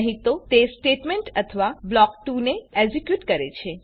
નહી તો તે સ્ટેટમેંટ અથવા બ્લોક ૨ ને એક્ઝેક્યુટ કરે છે